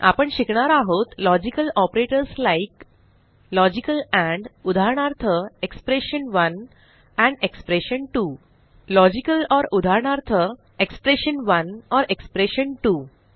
आपण शिकणार आहोत लॉजिकल ऑपरेटर्स लाइक अंपंप लॉजिकल एंड उदाहरणार्थ एक्सप्रेशन1 अंपंप एक्सप्रेशन2 लॉजिकल ओर उदाहरणार्थ एक्सप्रेशन1 एक्सप्रेशन2 160